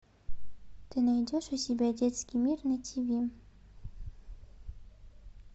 ты найдешь у себя детский мир на тв